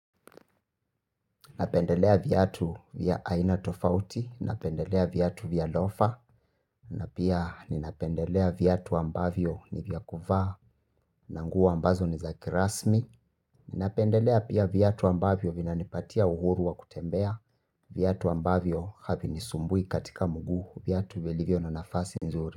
Napendelea viatu vya aina tofauti, napendelea viatu vya loafer, na pia ninapendelea viatu ambavyo ni vya kuvaa, na nguo ambazo ni za kirasmi. Ninapendelea pia viatu ambavyo vinanipatia uhuru wa kutembea, viatu ambavyo havinisumbui katika mguu, viatu vilivyo na nafasi nzuri.